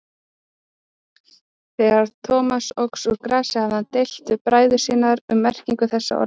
Þegar Thomas óx úr grasi hafði hann deilt við bræður sína um merkingu þessara orða.